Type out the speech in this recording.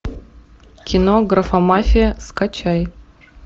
кино графомафия скачай